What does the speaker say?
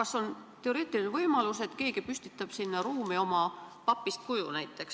– kas on teoreetiline võimalus, et keegi püstitab sinna ruumi näiteks oma papist kuju?